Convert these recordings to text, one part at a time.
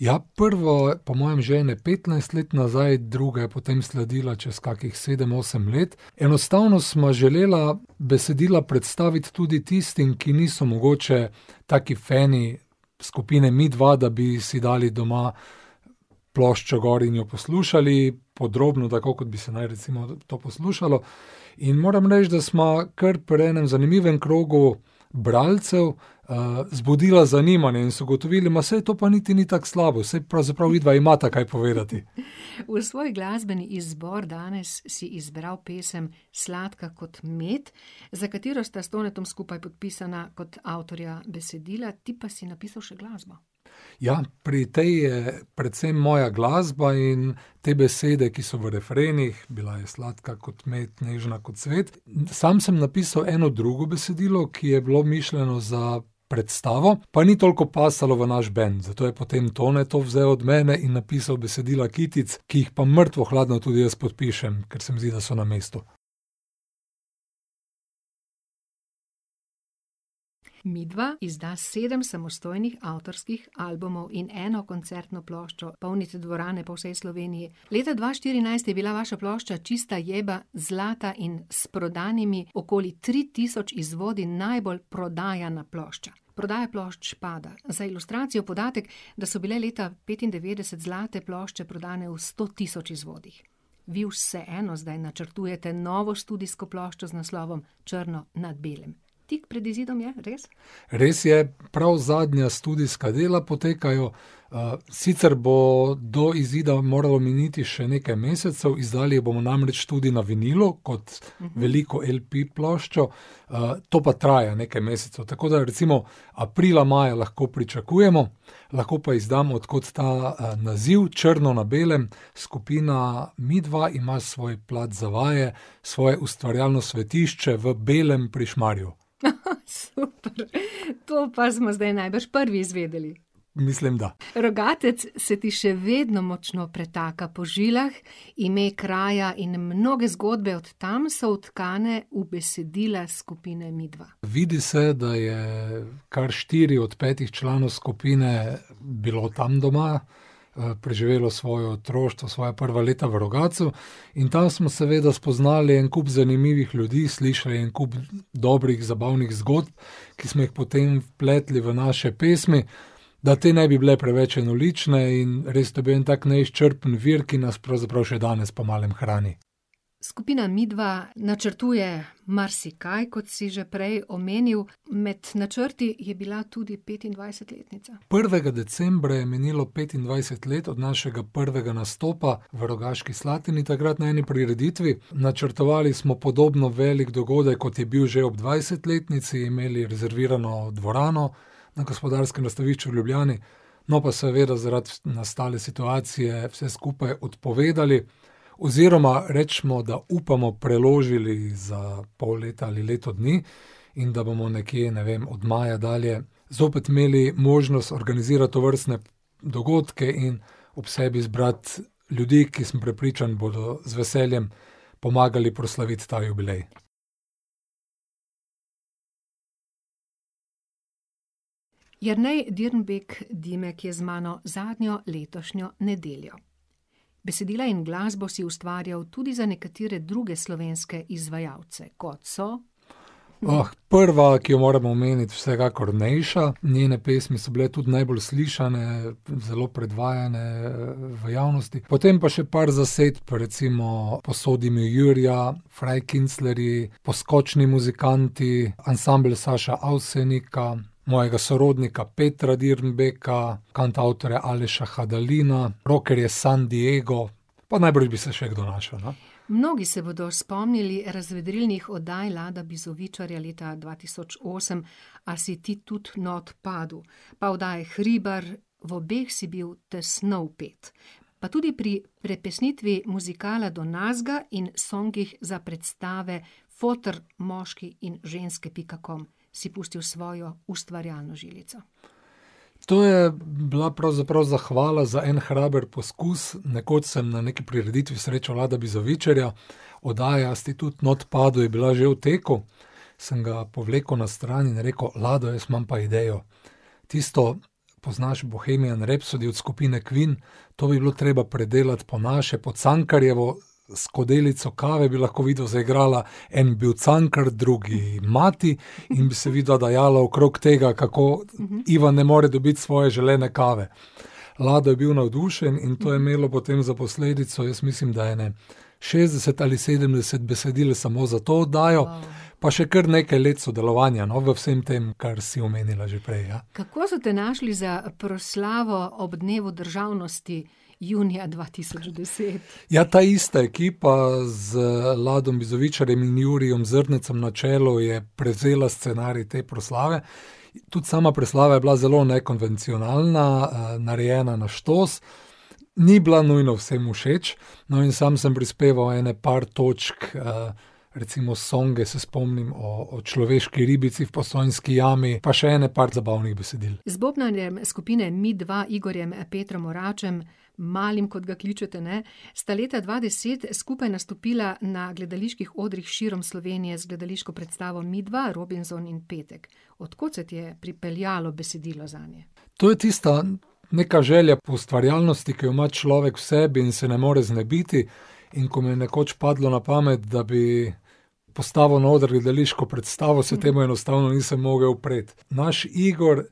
Ja, prvo po mojem že ene petnajst let nazaj, druga je potem sledila čez kakih sedem, osem let. Enostavno sva želela besedila predstaviti tudi tistim, ki niso mogoče taki fani skupine Midva, da bi si dali doma ploščo gor in jo poslušali podrobno, tako kot bi se naj recimo to poslušalo. In moram reči, da sva kar pri enem zanimivem krogu bralcev, zbudila zanimanje in so ugotovili, saj to pa niti ni tako slabo, saj pravzaprav vidva imata kaj povedati. V svoj glasbeni izbor danes si izbral pesem Sladka kot med, za katero sta s Tonetom skupaj podpisana kot avtorja besedila, ti pa si napisal še glasbo. Ja, pri tej je precej moja glasba in te besede, ki so v refrenih: "Bila je sladka kot med, nežna kot cvet." Sam sem napisal eno drugo besedilo, ki je bilo mišljeno za predstavo, pa ni toliko pasalo v naš bend, zato je potem Tone to vzel od mene in napisal besedila kitic, ki jih pa mrtvo hladno tudi jaz podpišem, ker se mi zdi, da so na mestu. Midva izda sedem samostojnih avtorskih albumov in eno koncertno ploščo, polni tudi dvorane po vsej Sloveniji. Leta dva štirinajst je bila vaša plošča Čista jeba zlata in s prodanimi okoli tri tisoč izvodi najbolj prodajana plošča. Prodaja plošč pada. Za ilustracijo podatek, da so bile leta petindevetdeset zlate plošče prodane v sto tisoč izvodih. Vi vseeno zdaj načrtujete novo studijsko ploščo z naslovom Črno na belem. Tik pred izidom je, res? Res je, prav zadnja studijska dela potekajo. sicer bo do izida moralo miniti še nekaj mesecev, izdali bomo namreč tudi na vinilno kot veliko LP-ploščo, to pa traja nekaj mesecev, tako da recimo aprila, maja lahko pričakujemo. Lahko pa izdam, od kod ta, naziv, Črno na belem, skupina Midva ima svoj plac za vaje, svoje ustvarjalno svetišče v Belem pri Šmarju. super. To pa smo zdaj najbrž prvi izvedeli. Mislim, da. Rogatec se ti še vedno močno pretaka po žilah. Ime kraja in mnoge zgodbe od tam so vtkane v besedila skupine Midva. Vidi se, da je kar štiri od petih članov skupine bilo tam doma, preživelo svojo otroštvo, svoja prva leta v Rogatcu. In tam smo seveda spoznali en kup zanimivih ljudi, slišali en kup dobrih, zabavnih zgodb, ki smo jih potem vpletli v naše pesmi, da te ne bi bile preveč enolične, in res, to je bil tak en neizčrpen vir, ki nas pravzaprav še danes pomalem hrani. Skupina Midva načrtuje marsikaj, kot si že prej omenil. Med načrti je bila tudi petindvajsetletnica. Prvega decembra je minilo petindvajset let od našega prvega nastopa v Rogaški Slatini takrat na eni prireditvi. Načrtovali smo podobno velik dogodek, kot je bil že ob dvajsetletnici, imeli rezervirano dvorano na Gospodarskem razstavišču v Ljubljani, no, pa seveda zaradi nastale situacije vse skupaj odpovedali. Oziroma recimo, da upamo, preložili za pol leta ali leto dni in da bomo nekje, ne vem, od maja dalje zopet imeli možnost organizirati tovrstne dogodke in ob sebi zbrati ljudi, ki sem prepričan, bodo z veseljem pomagali proslaviti ta jubilej. Jernej Dirnbek - Dimek je z mano zadnjo letošnjo nedeljo. Besedila in glasbo si ustvarjal tudi za nekatere druge slovenske izvajalce, kot so ... prva, ki jo moram omeniti, vsekakor Nejša, njene pesmi so bile tudi najbolj slišane, zelo predvajane, v javnosti, potem pa še par zasedb, recimo Posodi mi jurja, Frajkinclarji, Poskočni muzikanti, Ansambel Saša Avsenika, mojega sorodnika, Petra Dirnbeka, kantavtorja Aleša Hadalina, rockerje San Diego, pa najbrž bi se še kdo našel, no. Mnogi se bodo spomnili razvedrilnih oddaj Lada Bizovičarja leta dva tisoč osem A si ti tudi not padu?, pa oddaje Hribar, v obeh si bil tesno vpet. Pa tudi pri prepesnitvi muzikala Do nazga in songih za predstave Foter, moški in ženske pika com si pustil svojo ustvarjalno žilico. To je bila pravzaprav zahvala za en hraber poskus. Nekoč sem na neki prireditvi srečal Lada Bizovičarja, oddaja A si ti tud not padu? je bila že v teku. Sem ga povlekel na stran in rekel: "Lado, jaz imam pa idejo. Tisto poznaš, Bohemian Rhapsody od skupine Queen, to bi bilo treba predelati po naše, po Cankarjevo, Skodelico kave bi lahko vidva zaigrala, en bil Cankar, drugi mati, in bi se vidva dajala okrog tega, kako ..." Ivan ne more dobiti svoje želene kave. Lado je bil navdušen in to je imelo potem za posledico, jaz mislim, da ene šestdeset ali sedemdeset besedil samo za to oddajo, pa še kar nekaj let sodelovanja, no, v vsem tem, kar si omenila že prej, ja. Kako so te našli za proslavo ob dnevu državnosti junija dva tisoč deset? Ja, ta ista ekipa z Ladom Bizovičarjem in Jurijem Zrnecem na čelu je prevzela scenarij te proslave. Tudi sama proslava je bila zelo nekonvencionalna, narejena na štos. Ni bila nujno vsem všeč. No, in sam sem prispeval ene par točk, recimo songe, se spomnim, o človeški ribici, Postojnski jami, pa še ene par zabavnih besedil. Z bobnarjem skupine Midva, Igorjem Petrom Oračem, Malim, kot ga kličete, ne, sta leta dva deset skupaj nastopila na gledaliških odrih širom Slovenije z gledališko predstavo Midva, Robinzon in Petek. Od kod se ti je pripeljalo besedilo zanje? To je tista neka želja po ustvarjalnosti, ki jo ima človek v sebi in se ne more znebiti. In ko mi je nekoč padlo na pamet, da bi postavil na oder gledališko predstavo, se temu enostavno nisem mogel upreti. Naš Igor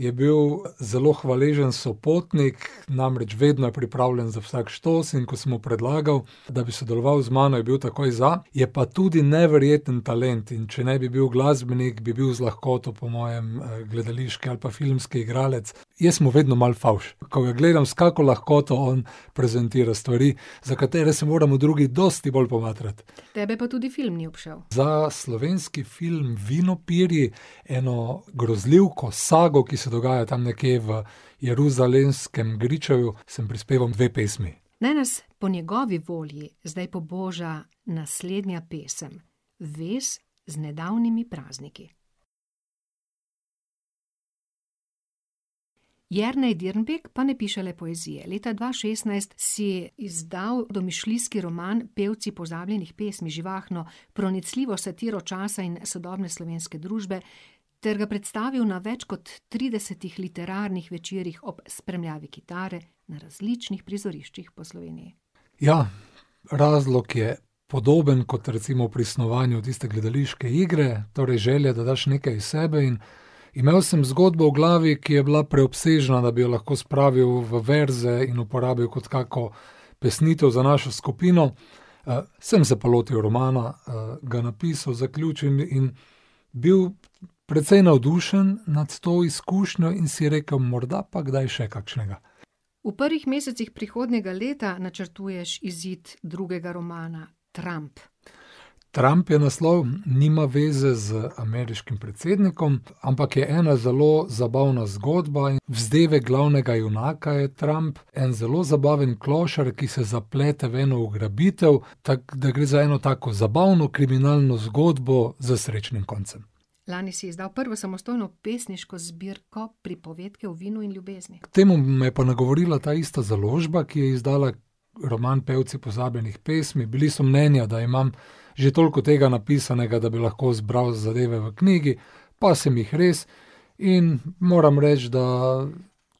je bil zelo hvaležen sopotnik, namreč vedno je pripravljen za vsak štos, in ko sem mu predlagal, da bi sodeloval z mano, je bil takoj za. Je pa tudi neverjeten talent, in če ne bi bil glasbenik, bi bil z lahkoto po mojem, gledališki ali pa filmski igralec. Jaz sem mu vedno malo fovš, ko ga gledam, s kako lahkoto on prezentira stvari, za katere se moramo drugi dosti bolj pomatrati. Tebe pa tudi film ni obšel. Za slovenski film Vinopirji, eno grozljivko, sago, ki se dogaja tam nekje v Jeruzalemskem gričevju, sem prispeval dve pesmi. Naj nas po njegovi volji zdaj poboža naslednja pesem, vez z nedavnimi prazniki. Jernej Dirnbek pa ne piše le poezije, leta dva šestnajst si izdal domišljijski roman Pevci pozabljenih pesmi, živahno, pronicljivo satiro časa in sodobne slovenske družbe, ter ga predstavil na več kot tridesetih literarnih večerih ob spremljavi kitare na različnih prizoriščih po Sloveniji. Ja, razlog je podoben kot recimo pri snovanju tiste gledališke igre, torej želja, da daš nekaj iz sebe, in imel sem zgodbo v glavi, ki je bila preobsežna, da bi jo lahko spravil v verze in uporabil kot kako pesnitev za našo skupino. sem se pa lotili romana, ga napisal, zaključil in bil precej navdušen nad to izkušnjo in si rekel: "Morda pa kdaj še kakšnega." V prvih mesecih prihodnjega leta načrtuješ izid drugega romana, Tramp. Tramp je naslov, nima veze z ameriškim predsednikom, ampak je ena zelo zabavna zgodba, vzdevek glavnega junaka je Tramp. En zelo zabaven klošar, ki se zaplete v eno ugrabitev. Tako da gre za eno zabavno kriminalno zgodbo s srečnim koncem. Lani si izdal prvo samostojno pesniško zbirko, Pripovedke o vinu in ljubezni. K temu me je pa nagovorila ta ista založba, ki je izdala roman Pevci pozabljenih pesmi, bili so mnenja, da imam že toliko tega napisanega, da bi lahko zbral zadeve v knjigi, pa sem jih res. In moram reči, da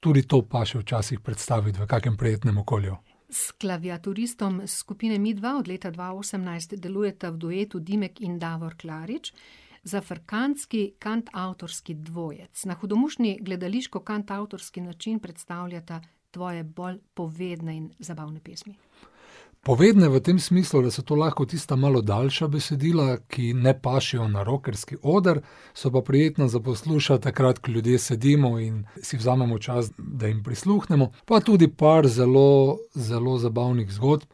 tudi to paše včasih predstaviti v kakem prijetnem okolju. S klaviaturistom skupine Midva od leta dva osemnajst delujeta v duetu Dimek in Davor Klarič, Zafrkantski kantavtorski dvojec, na hudomušni gledališko-kantavtorski način predstavljata tvoje bolj povedne in zabavne pesmi. Povedne v tem smislu, da so to lahko tista malo daljša besedila, ki ne pašejo na rockerski oder, so pa prijetna za poslušati takrat, ko ljudje sedimo in si vzamemo čas, da jim prisluhnemo. Pa tudi par zelo, zelo zabavnih zgodb.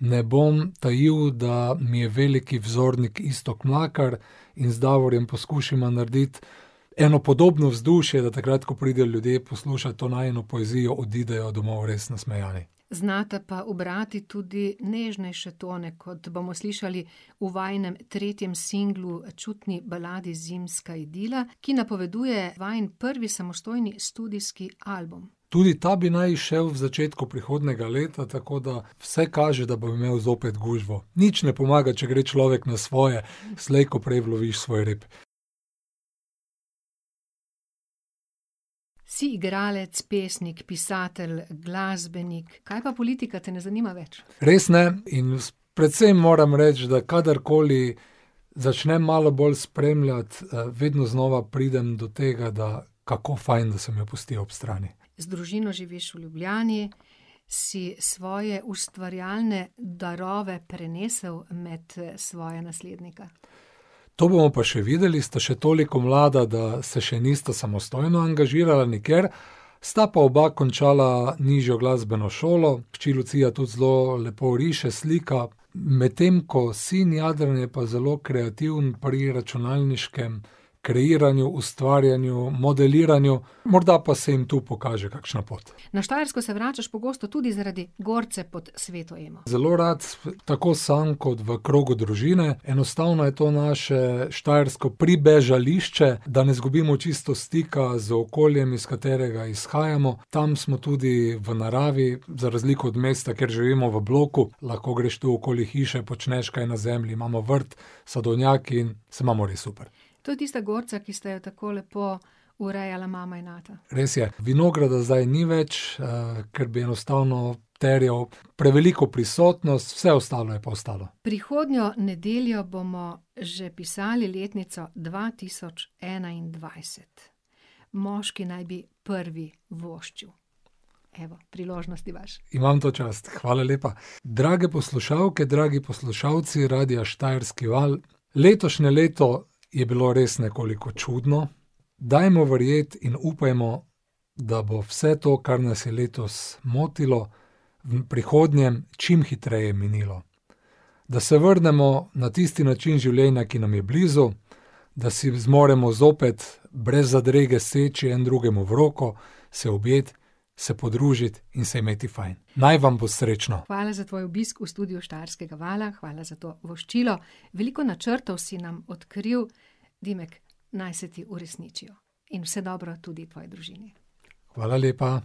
Ne bom tajil, da mi je veliki vzornik Iztok Mlakar, in z Davorjem poskušava narediti eno podobno vzdušje, da takrat ko pridejo ljudje poslušat to najino poezijo, odidejo domov res nasmejani. Znata pa ubrati tudi nežnejše tone, kot bomo slišali v vajinem tretjem singlu, čutni baladi Zimska idila, ki napoveduje vajin prvi samostojni studijski album. Tudi ta bi naj izšel v začetku prihodnjega leta, tako da vse kaže, da bom imel zopet gužvo. Nič ne pomaga, če gre človek na svoje, slej ko prej uloviš svoj rap. Si igralec, pesnik, pisatelj, glasbenik, kaj pa politika, te ne zanima več? Res ne in precej moram reči, da kadarkoli začnem malo bolj spremljati, vedno znova pridem do tega, da kako fajn, da sem jo pustil ob strani. Z družino živiš v Ljubljani, si svoje ustvarjalne darove prenesel med, svoja naslednika? To bomo pa še videli, sta še toliko mlada, da se še nista samostojno angažirala nikjer, sta pa oba končala nižjo glasbeno šolo, hči Lucija tudi zelo lepo riše, slika, medtem ko sin Jadran je pa zelo kreativen pri računalniškem kreiranju, ustvarjanju, modeliranju, morda pa se jim tu pokaže kakšna pot. Na Štajersko se vračaš pogosto, tudi zaradi gorce pod Sveto Emo. Zelo rad tako samo kot v krogu družine, enostavno je to naše štajersko pribežališče, da ne izgubimo čisto stika z okoljem, iz katerega izhajamo. Tam smo tudi v naravi, za razliko od mesta, kjer živimo v bloku, lahko greš tu okoli hiše, počneš kaj na zemlji, imamo vrt, sadovnjak in se imamo res super. To je tista gorca, ki sta jo tako lepo urejala mama in ata. Res je, vinograda zdaj ni več, ker bi enostavno terjal preveliko prisotnost, vse ostalo je pa ostalo. Prihodnjo nedeljo bomo že pisali letnico dva tisoč enaindvajset. Moški naj bi prvi voščil. Evo, priložnost imaš. Imam to čast, hvala lepa. Drage poslušalke, dragi poslušalci Radia Štajerski val, letošnje leto je bilo res nekoliko čudno, dajmo verjeti in upajmo, da bo vse to, kar nas je letos motilo, v prihodnjem čim hitreje minilo. Da se vrnemo na tisti način življenja, ki nam je blizu, da si zmoremo zopet brez zadrege seči en drugemu v roko, se objeti, se podružiti in se imeti fajn. Naj vam bo srečno! Hvala za tvoj obisk v studiu Štajerskega vala, hvala za to voščilo. Veliko načrtov si nam odkril, Dimek, naj se ti uresničijo in vse dobro tudi tvoji družini. Hvala lepa.